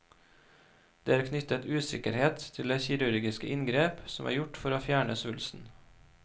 Det er knyttet usikkerhet til det kirurgiske inngrep som er gjort for å fjerne svulsten.